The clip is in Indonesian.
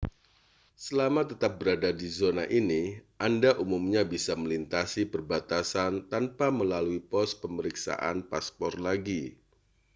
selama tetap berada di zona ini anda umumnya bisa melintasi perbatasan tanpa melalui pos pemeriksaan paspor lagi